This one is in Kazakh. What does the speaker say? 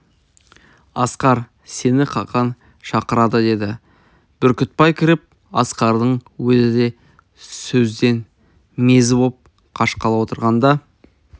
асқар сені қақаң шақырады деді бүркітбай кіріп асқардың өзі де сөзден мезі боп қашқалы отырғанда